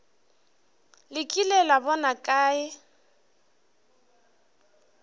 le kile la bona kae